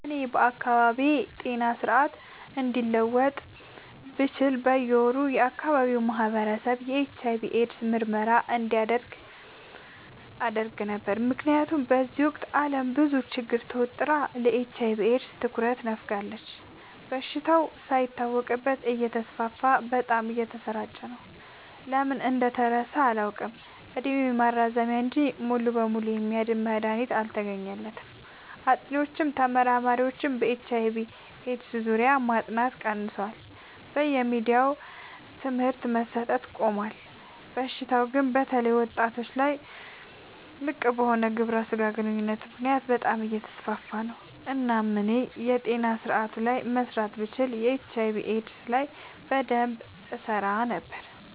እኔ ከአካባቢዬ ጤና ስርዓት አንዱን መለወጥ ብችል በየ ወሩ የአካባቢው ማህበረሰብ የኤች/አይ/ቪ ኤድስ ምርመራ እንዲያደርግ አደረግ ነበር። ምክንያቱም በዚህ ወቅት አለም በብዙ ችግር ተወጥራ ለኤች/አይ/ቪ ኤድስ ትኩረት ነፋጋለች። በሽታው ሳይታወቅበት እተስፋፋ በጣም እየተሰራጨ ነው። ለምን እንደተረሳ አላውቅ እድሜ ማራዘሚያ እንጂ ሙሉ በሙሉ የሚያድን መድሀኒት አልተገኘለትም ጥኒዎችም ተመራማሪዎችም በኤች/አይ/ቪ ኤድስ ዙሪያ ማጥናት ቀንሰዋል በየሚዲያውም ትምህርት መሰት አቆሞል። በሽታው ግን በተለይ ወጣቶች ላይ ልቅበሆነ ግብረ ስጋ ግንኙነት ምክንያት በጣም አየተስፋፋ ነው። እናም እኔ የጤና ስረአቱ ላይ መስራት ብችል ኤች/አይ/ቪ ኤድስ ላይ በደንብ እሰራ ነበር።